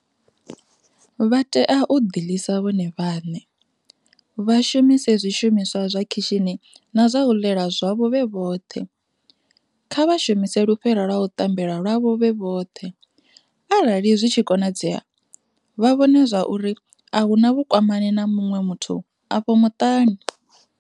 Vha tea u ḓi ḽisa vhone vhane, vha shumise zwi shumiswa zwa khishini na zwa u ḽela zwavho vhe vhoṱhe, kha vha shumise lufhera lwa u ṱambela lwavho vhe vhoṱhe, arali zwi tshi konadzea, vha vhone zwauri a hu na vhukwamani na muṅwe muthu afho muṱani.